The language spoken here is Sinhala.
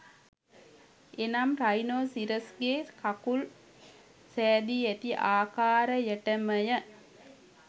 එනම් රයිනෝසිරස්ගේ කකුල් සැදී ඇති ආකාරයටමය